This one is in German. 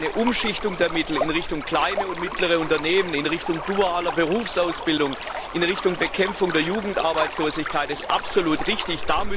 Eine Umschichtung der Mittel in Richtung kleine und mittlere Unternehmen, in Richtung dualer Berufsausbildung, Bekämpfung der Jugendarbeitslosigkeit ist absolut richtig.